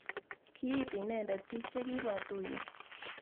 kiiti inende biik che kibwa tuyiet